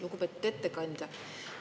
Lugupeetud ettekandja!